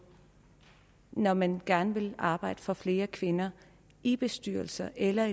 når man gerne vil arbejde for flere kvinder i bestyrelser eller